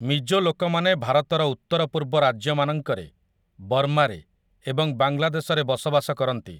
ମିଜୋ ଲୋକମାନେ ଭାରତର ଉତ୍ତରପୂର୍ବ ରାଜ୍ୟ ମାନଙ୍କରେ, ବର୍ମାରେ ଏବଂ ବାଂଲାଦେଶରେ ବସବାସ କରନ୍ତି ।